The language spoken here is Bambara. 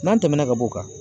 N'an tɛmɛna ka b'o kan